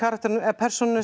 persónunum